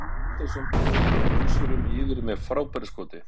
GUÐMUNDUR STEINN HAFSTEINSSON KEMUR VÖLSURUM YFIR MEÐ FRÁBÆRU SKOTI!